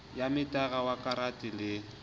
ya metara wa karata le